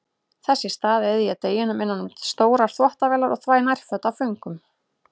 Þess í stað eyði ég deginum innan um stórar þvottavélar og þvæ nærföt af föngum.